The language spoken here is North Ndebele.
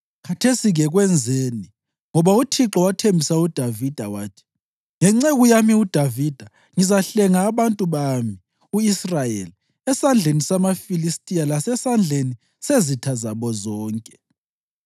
Khathesi-ke kwenzeni! Ngoba uThixo wathembisa uDavida wathi, ‘Ngenceku yami uDavida ngizahlenga abantu bami u-Israyeli esandleni samaFilistiya lasesandleni sezitha zabo zonke.’ ”